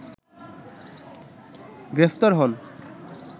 গ্রেপ্তার হন